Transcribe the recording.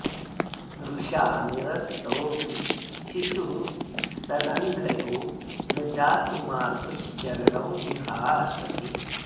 रुषा निरस्तोऽपि शिशुः स्तनन्धयो न जातु मातुश्चरणौ जिहासति